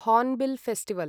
hornbill festival